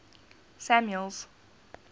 samuel's